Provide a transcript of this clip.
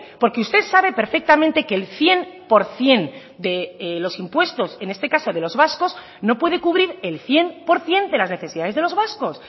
porque usted sabe perfectamente que el cien por ciento de los impuestos en este caso de los vascos no puede cubrir el cien por ciento de las necesidades de los vascos